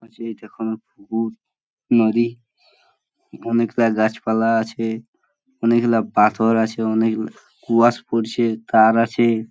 পাশেই নদী । অনেক গুলা গাছপালা আছে অনেক গুলা পাথর আছে অনেক কুয়াশ পড়ছে কার আছে।